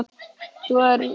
Þrjú lið fara upp.